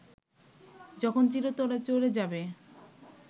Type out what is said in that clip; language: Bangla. যখন চিরতরে চলে যাবে